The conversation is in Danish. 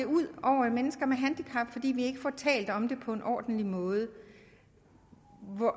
ud over mennesker med handicap fordi vi ikke får talt om det på en ordentlig måde